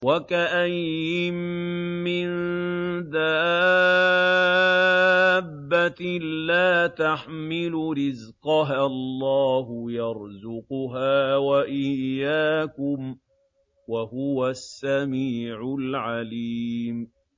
وَكَأَيِّن مِّن دَابَّةٍ لَّا تَحْمِلُ رِزْقَهَا اللَّهُ يَرْزُقُهَا وَإِيَّاكُمْ ۚ وَهُوَ السَّمِيعُ الْعَلِيمُ